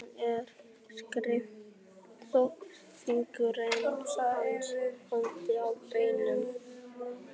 Hún er styrk þótt fingur hans haldi um beinin.